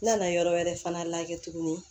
N nana yɔrɔ wɛrɛ fana la kɛ tuguni